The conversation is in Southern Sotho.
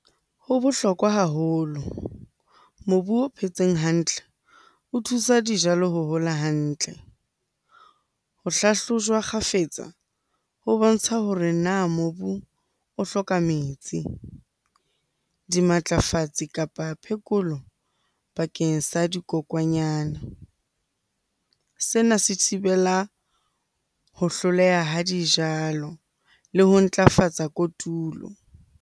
Ho bohlokwa haholo. Mobu o phetseng hantle o thusa dijalo ho hola hantle. Ho hlahlojwa kgafetsa ho bontsha hore na mobu o hloka metsi, dimatlafatsi kapa phekolo bakeng sa dikokwanyana? Sena se thibela ho hloleha ha dijalo le ho ntlafatsa kotulo.